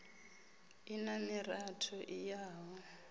i na miratho i yaho